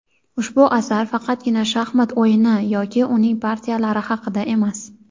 Ushbu asar faqatgina shaxmat o‘yini yoki uning partiyalari haqida emas.